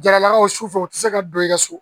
Jaralakaw su su fɛ u tɛ se ka don i ka so